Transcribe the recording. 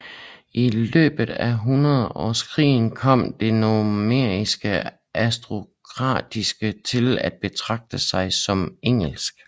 I løbet af Hundredårskrigen kom det normanniske aristokrati til at betragte sig som engelsk